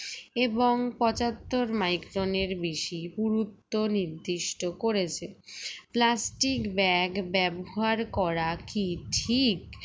এবং পঁচাত্তর micron এর বেশি পুরুত্ব নির্দিষ্ট করেছে plastic bag ব্যবহার করা কি ঠিক